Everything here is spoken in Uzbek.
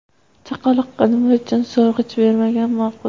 Chaqaloqqa nima uchun so‘rg‘ich bermagan ma’qul?.